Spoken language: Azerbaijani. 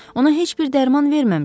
Ona heç bir dərman verməmişəm.